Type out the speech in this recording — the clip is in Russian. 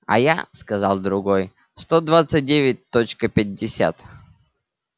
а я сказал другой сто двадцать девять точка пятьдесят